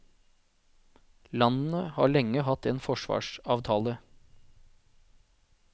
Landene har lenge hatt en forsvarsavtale.